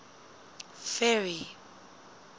ferry